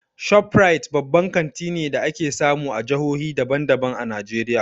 ShopRite babban kanti ne da ake samu a jahohi daban daban a Najeriya.